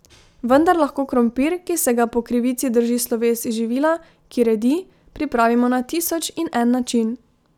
Vendar lahko krompir, ki se ga po krivici drži sloves živila, ki redi, pripravimo na tisoč in en način.